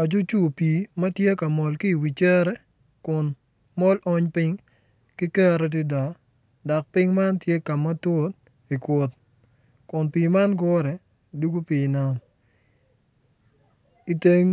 Acucur pii ma tye ka mol ki i wi cere kun mol ony piny ki kero adada dok piny man tye ka ma tut i kut kun pii man gure dwogo pii nam i teng